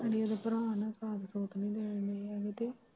ਅੜੀ ਓਦੇ ਭਰਾ ਨੇ ਕਾਟ- ਕੁਟ ਨੀ ਲਏ ਓਨੇ ਅਭੀ ਦੇ।